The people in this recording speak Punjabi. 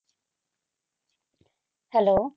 Hello